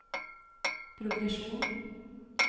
progresjon